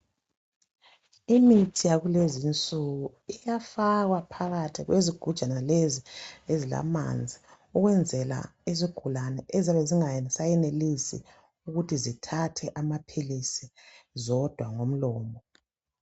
Imithi yakulezi insuku isafaka phakathi kwezigujana lezi ezilamanzi ukwenzela izigulane ezabezingasayenelisi ukuthi zithathe amaphilisi zodwa ngomlomo.